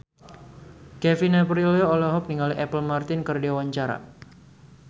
Kevin Aprilio olohok ningali Apple Martin keur diwawancara